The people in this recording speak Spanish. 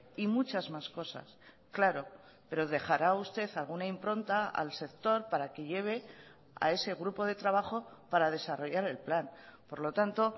y muchas más cosas claro pero dejará usted alguna impronta al sector para que lleve a ese grupo de trabajo para desarrollar el plan por lo tanto